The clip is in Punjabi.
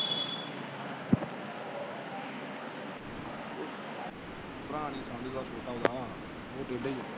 ਭਰਾ ਨਹੀਂ ਸਮਝਦਾ ਛੋਟਾ ਓਹਦਾ। ਉਹ ਟੇਢਾ ਈ ਏ।